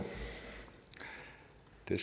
det